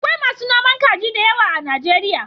Akwai masu noman kaji da yawa a Najeriya.